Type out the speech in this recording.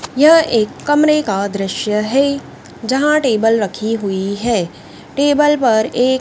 यह एक कमरें का दृश्य है जहां टेबल रखी हुई है टेबल पर एक--